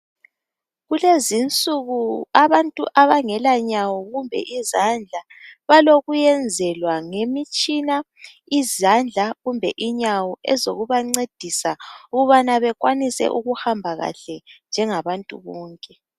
Kulezinsuku abantu abangela nyawo kumbe izandla balokuyenzwelwa ngemitshina izandla kumbe inyawo ezokubancedisa ukubana bekwanise ukuhamba kahle njengabantu bonke.